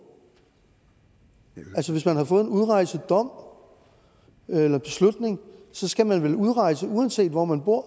altså hvis man har fået en udrejsedom eller beslutning skal man vel udrejse uanset hvor man bor